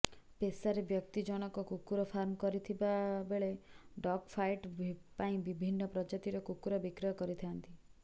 ପେଶାରେ ବ୍ୟକ୍ତି ଜଣକ କୁକୁର ଫାର୍ମ କରିଥିବାବେଳେ ଡଗ୍ ଫାଇଟ୍ ପାଇଁ ବିଭିନ୍ନ ପ୍ରଜାତିର କୁକୁର ବିକ୍ରୟ କରିଥାନ୍ତି